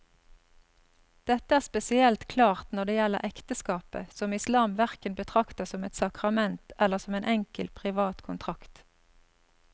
Dette er spesielt klart når det gjelder ekteskapet, som islam hverken betrakter som et sakrament eller som en enkel privat kontrakt.